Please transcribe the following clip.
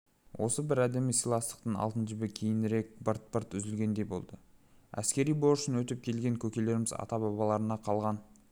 осыбір әдемі сыйластықтың алтын жібі кейінірек бырт-бырт үзілгендей болды әскери борышын өтеп келген көкелеріміз ата-бабаларынан қалған